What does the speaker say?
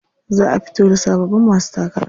Za a fito da sababbin masu takara.